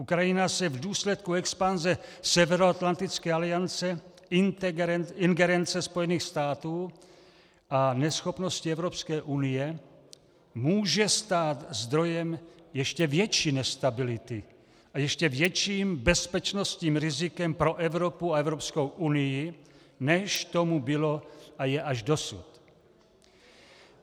Ukrajina se v důsledku expanze Severoatlantické aliance, ingerence Spojených států a neschopnosti Evropské unie může stát zdrojem ještě větší nestability a ještě větším bezpečnostním rizikem pro Evropu a Evropskou unii, než tomu bylo a je až dosud.